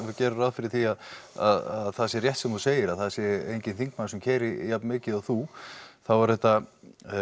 við gerum ráð fyrir því að það sé rétt sem þú segir að það sé enginn þingmaður sem keyrir jafn mikið og þú þá eru þetta